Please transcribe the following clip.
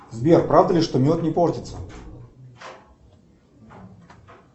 сбер правда ли что мед не портится